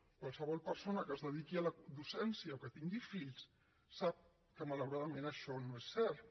qualsevol persona que es dediqui a la docència o que tingui fills sap que malauradament això no és cert